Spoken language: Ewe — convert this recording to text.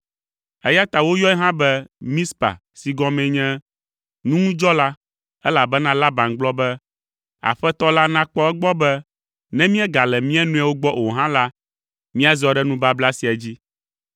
Eya ta woyɔe hã be “Mizpa” si gɔmee nye “Nuŋudzɔla,” elabena Laban gblɔ be, “Aƒetɔ la nakpɔ egbɔ be ne míegale mía nɔewo gbɔ o hã la, míazɔ ɖe nubabla sia dzi.